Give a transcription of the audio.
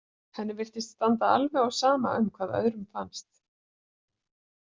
Henni virtist standa alveg á sama um hvað öðrum fannst.